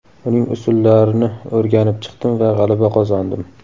Uning usullarini o‘rganib chiqdim va g‘alaba qozondim.